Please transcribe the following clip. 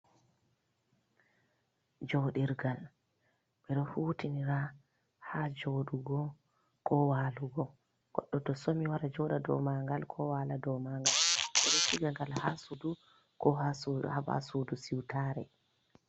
Joɗirgal ɓeɗo hutindira ha joɗugo, ko walugo, goɗɗo to so mi wara joɗa dou mangal, ko wala dou mangal, ɓe ɗo siga gal ha sudu ko ha babai sudu siutare.